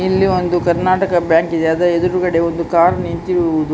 ಇಲ್ಲಿ ಒಂದು ಕರ್ನಾಟಕ ಬ್ಯಾಂಕ್ ಇದೆ ಅದರ ಎದುರುಗಡೆ ಒಂದು ಕಾರ್ ನಿಂತಿರುವುದು --